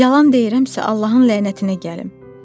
Yalan deyirəmsə Allahın lənətinə gəlim.